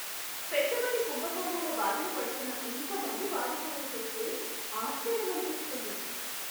పెట్టుబడి కుంభకోణాల బారిన పడుతున్న ఇంత మంది బాధితులను చూస్తే ఆశ్చర్యమనిపిస్తుంది.